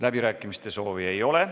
Läbirääkimiste soovi ei ole.